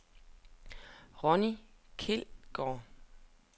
Ronni Kjeldgaard